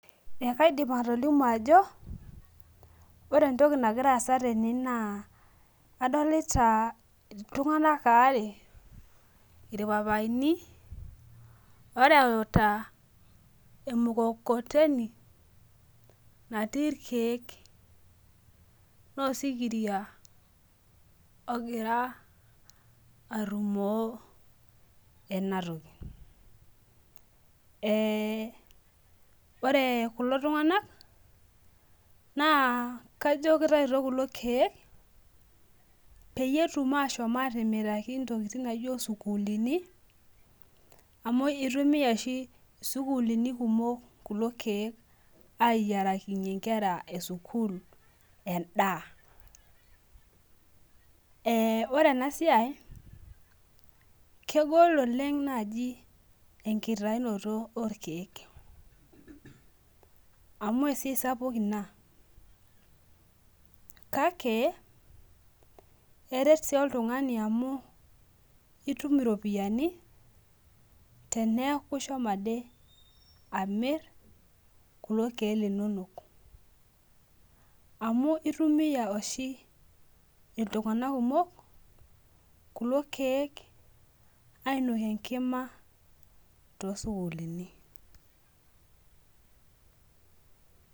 Ekaidip atolimu ajo ore entoki nagira aasa tene na adolta ltunganak aare irpapaini oreuta emukokoteni natii irkiek na osikiria ogira arumo enatoki ore kulo tunganak na kajo kitauto kulo kiek petum ashomobm atimiraki ntokitin nijo sukulini amu itumia oshi sukulini kumok kulo kiek ayierakinye nkera esukul endaa e ore enasai kegol oleng enkitaunoto orkiek amu esiaia sapuk ina kake eret si oltungani amu itum iropiyani teneaku ishomo amir kulo kiek linonok amu oshi ltunganak kumok kulo kiek ainokie enkima tosukulini.